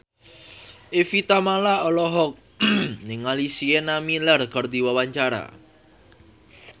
Evie Tamala olohok ningali Sienna Miller keur diwawancara